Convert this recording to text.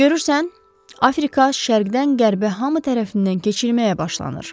Görürsən, Afrika şərqdən qərbə hamı tərəfindən keçirilməyə başlanır.